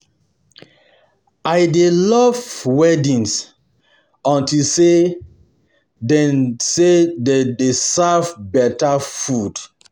I dey love weddings unto say dem say dem dey serve beta food